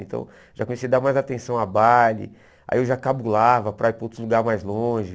Então, já comecei a dar mais atenção a baile, aí eu já cabulava para ir para outros lugares mais longe.